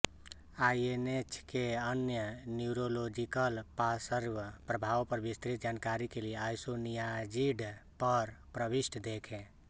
INH के अन्य neurological पार्श्व प्रभावों पर विस्तृत जानकारी के लिए आइसोनियाज़िड पर प्रविष्टि देखें